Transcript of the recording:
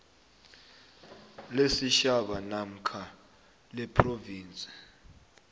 lesitjhaba namkha lephrovinsi